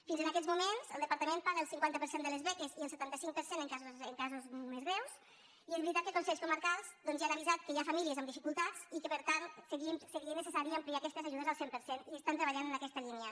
fins a aquests moments el departament paga el cinquanta per cent de les beques i el setanta cinc per cent en casos més greus i és veritat que els consells comarcals ja han avisat que hi ha famílies amb dificultats i que per tant seria necessari ampliar aquestes ajudes al cent per cent i treballen en aquesta línia